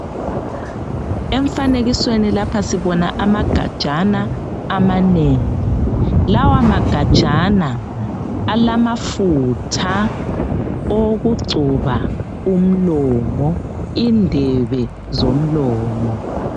Emfanekisweni lapha sibona amagajana amanengi. Lawa magajana alamafutha owokugcoba umlomo, indebe zomlomo.